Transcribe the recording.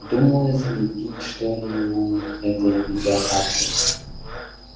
думаю залепить что ли ему этой видеокартой